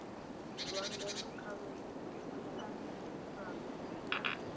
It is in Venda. zwa ndeme kha miaisano ya